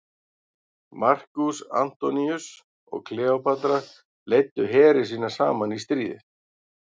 Markús Antoníus og Kleópatra leiddu heri sína saman í stríðið.